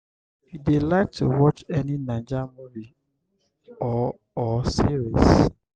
you dey like to watch any naija movie or or series?